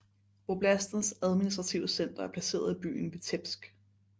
Voblastens administrative center er placeret i byen Vitebsk